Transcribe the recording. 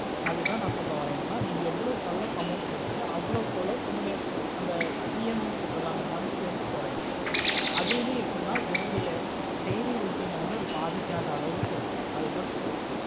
அதுத ந சொல்ல வர நீ ஏவோலோவுக்கு எவ்ளோ amount கேட்டுரியோ அவோலோவுக்கு அவோலோ உன்னோட அந்த EMI னு சொல்ல்றல அந்த month குறையும் ஆடுமே எப்புடின்னா உன்னோட daily routine ஆஹ் வந்து படிக்கத்தாலவு இருக்கனும் அதுத சொல்லற